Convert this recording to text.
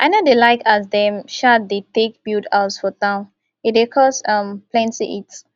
i no dey like as dem um dey take build house for town e dey cause um plenty heat